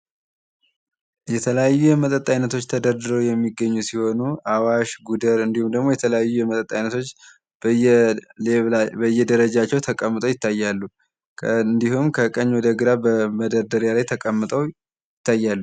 የተለያየ የመጠጥ አይነቶች ተደርድረው የሚገኙ ሲሆኑ አዋሽ፣ ጉደር እንድሁም ደግሞ የተለያዩ የመጠጥ አይነቶች በየደረጃቸው ተቀምጠው ይታያሉ። እንድሁም ከቀኝ ወደ ግራ በመደርደሪያ ላይ ተቀምጠው ይታያሉ።